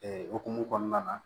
okumu kɔnɔna na